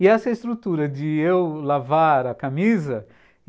E essa é a estrutura de eu lavar a camisa.